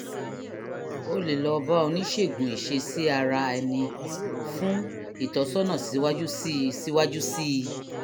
ó lè jẹ́ ọgbẹ́ iṣan orí èjìká èyí tó lè nílò tó lè nílò àyẹ̀wò mri fún ìdánilójú